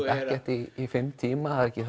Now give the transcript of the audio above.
í fimm tíma það er ekki